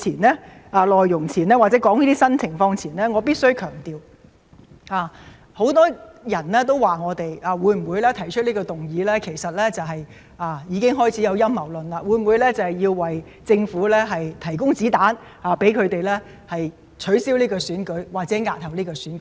在我談論新的情況前，我必須強調，很多人說我們提出這項議案——已開始有陰謀論出現——會否是為了向政府提供子彈，讓他們借機取消或押後選舉？